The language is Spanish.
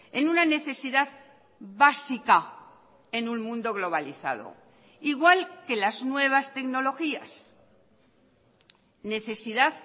en una necesidad básica en un mundo globalizado igual que las nuevas tecnologías necesidad